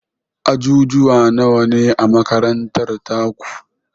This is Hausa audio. Ajujuwa nawane a makarantar taku?